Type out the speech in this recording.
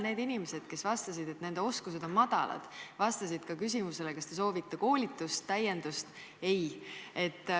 Need inimesed, kes vastasid, et nende oskused on madalad, vastasid ka küsimusele, kas te soovite koolitust, täiendust, et ei soovi.